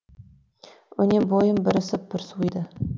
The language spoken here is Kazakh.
өне бойым бір ысып бір суиды